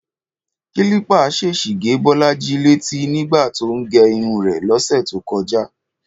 Kílípà ṣèṣì gé Bọ́lájí létí nígbà tó ń gẹ irun rẹ̀ lọ́sẹ̀ tó kọjá